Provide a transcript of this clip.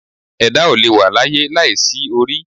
Ẹ̀dá ò lè wà láyé láìsí orí